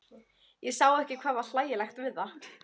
Ég sá ekki hvað var hlægilegt við það.